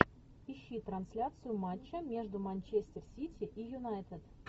ищи трансляцию матча между манчестер сити и юнайтед